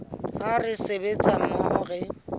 ha re sebetsa mmoho re